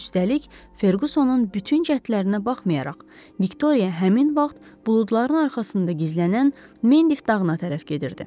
Üstəlik, Ferqusonun bütün cəhdlərinə baxmayaraq, Viktoriya həmin vaxt buludların arxasında gizlənən Mendif dağına tərəf gedirdi.